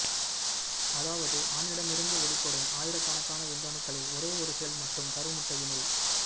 அதாவது ஆணிடமிருந்து வெளிப்படும் ஆயிரக்கணக்கான விந்தணுக்களில் ஒரே ஒரு செல் மட்டும் கருமுட்டையினுள்